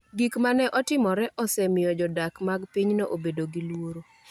Gik ma ne otimore osemiyo jodak mag pinyno obedo gi luoro